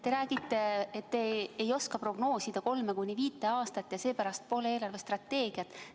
Te räägite, et te ei oska prognoosida 3–5 aastat ja seepärast pole eelarvestrateegiat.